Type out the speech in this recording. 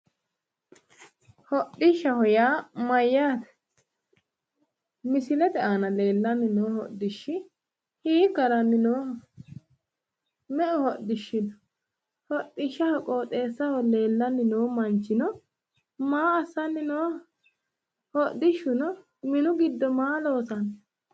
Hodhishaho yaa mayyaate? Misilete aana no hodhishi hiikka haranni nooho?me"u hodhishi no?hodhishshaho qooxeessaho leellanninno manchi maa assanni nooho? Hodishshuno minu giddo maa loosanni no?